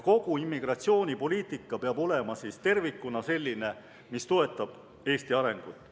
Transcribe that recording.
Kogu immigratsioonipoliitika peab olema tervikuna selline, mis toetab Eesti arengut.